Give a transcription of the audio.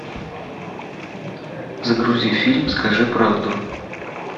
загрузи фильм скажи правду